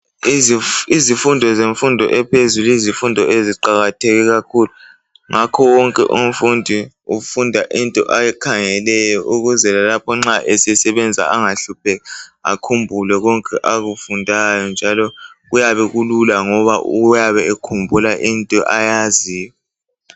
Izifundo zemfundo ephezulu yizifundo eziqakatheke kakhulu. Ngakho wonke umfundi ufunda into ayikhangeleyo ukuze lapho nxa esebenza engahlupheki, akhumbule konke akufundayo njalo kuyabe kulula ngoba uyabe ekhumbula into ayaziyo.